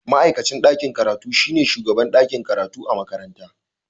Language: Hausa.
Ma'aikacin ɗakin karatu shine shugaban ɗakin karatu na makaranta